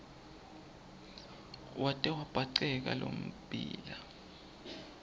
wate wabhaceka lommbila